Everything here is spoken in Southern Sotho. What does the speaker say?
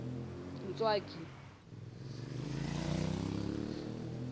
ntswaki